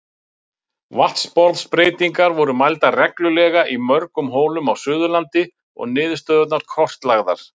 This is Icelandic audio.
Vatnsborðsbreytingar voru mældar reglulega í mörgum holum á Suðurlandi og niðurstöðurnar kortlagðar.